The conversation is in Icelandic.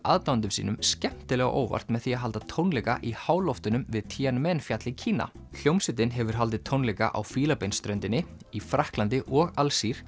aðdáendum sínum skemmtilega á óvart með því að halda tónleika í háloftunum við Tianmenfjall í Kína hljómsveitin hefur haldið tónleika á Fílabeinsströndinni í Frakklandi og Alsír